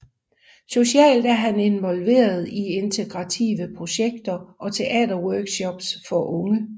Socialt er han involveret i integrative projekter og teaterworkshops for unge